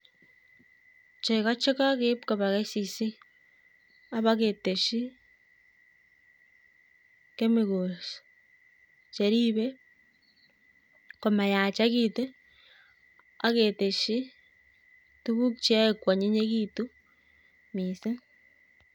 Chego chekakeib koba cs[kcc]cs abaketeshi kemikols cheribei komayaketu akateshi tuku cheyoe kwonnyinyitu missing